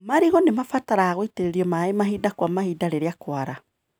Marigũ nĩmabataraga gũitĩrĩrio maĩ mahinda kwa mahinda rĩrĩa kwara.